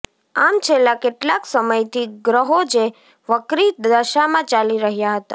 આમ છેલ્લાં કેટલાંક સમયથી ગ્રહો જે વક્રી દશામાં ચાલી રહ્યાં હતાં